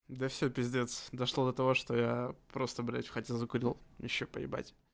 да все пиздец дошло до того что яя просто блять в хате закурил вообще поебать